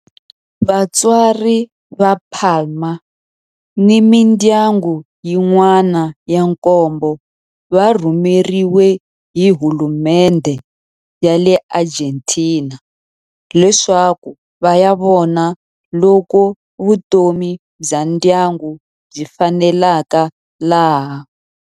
Vatswari va Palma ni mindyangu yin'wana ya nkombo va rhumeriwe hi hulumendhe ya le Argentina leswaku va ya vona loko vutomi bya ndyangu byi faneleka laha.